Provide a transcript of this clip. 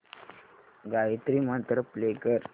Gayatri mantra play कर